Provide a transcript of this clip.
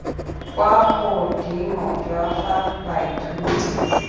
kwa godimo jwa fa baithuti